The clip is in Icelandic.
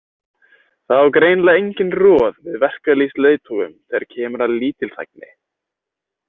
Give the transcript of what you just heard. Það á greinilega enginn roð við verkalýðsleiðtogum þegar kemur að lítilþægni.